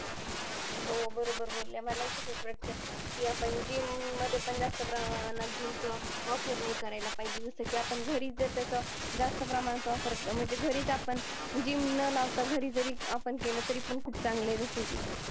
तर तुला वाटतंय दीदी आपल्या area काय काय विशिष्ट आहे